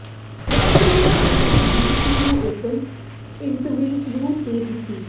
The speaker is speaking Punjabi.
ਰਾਜਕੁਮਾਰੀ ਅੰਨਾ ਨੇ ਬੀਬੀਸੀ ਨੂੰ ਇੱਕ ਇੰਟਰਵਿਊ ਦੇ ਦਿੱਤੀ